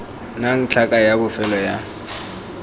nnang tlhaka ya bofelo ya